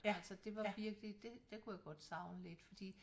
Altså det var virkelig det det kunne jeg godt savne lidt fordi